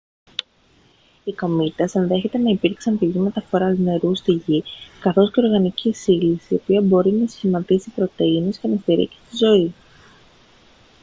οι κομήτες ενδέχεται να υπήρξαν πηγή μεταφοράς νερού στη γη καθώς και οργανικής ύλης η οποία μπορεί να σχηματίσει πρωτεΐνες και να στηρίξει τη ζωή